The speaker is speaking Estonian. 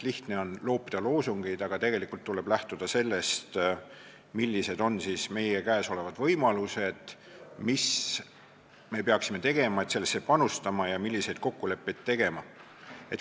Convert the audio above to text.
Lihtne on loopida loosungeid, aga tegelikult tuleb lähtuda sellest, millised on meie käes olevad võimalused, mis me peaksime tegema, et sellesse valdkonda panustada, ja milliseid kokkuleppeid peaksime tegema.